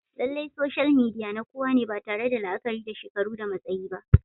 Lallai soshal midiya na kowa ne ba tare da la'akari da shekaru da matsayi ba